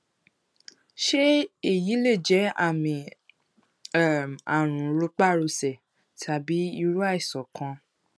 ṣé èyí lè jẹ àmì um àrùn rọpárọsẹ tàbí irú àìsàn kan